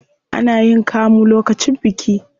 Ana yin kamu lokacin biki.